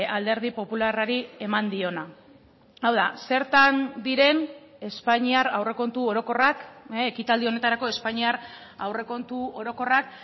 alderdi popularrari eman diona hau da zertan diren espainiar aurrekontu orokorrak ekitaldi honetarako espainiar aurrekontu orokorrak